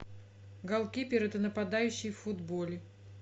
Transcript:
голкипер это нападающий в футболе